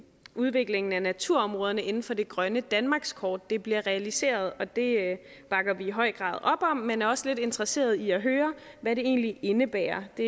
udviklingen af naturområderne inden for det grønne danmarkskort bliver realiseret og det bakker vi i høj grad op om men er også lidt interesseret i at høre hvad det egentlig indebærer det